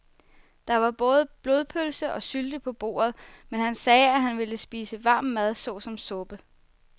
Der var både blodpølse og sylte på bordet, men han sagde, at han bare ville spise varm mad såsom suppe.